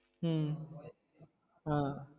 உம் ஆஹ்